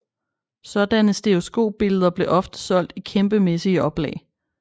Sådanne stereoskopbilleder blev ofte solgt i kæmpemæssige oplag